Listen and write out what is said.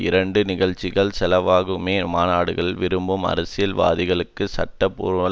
இரண்டு நிகழ்ச்சிகளின் செலவுகளுமே மாநாடுகளை விரும்பும் அரசியல் வாதிகளுக்கு சட்ட பூர்வமான